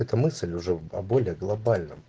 эта мысль уже о более глобальном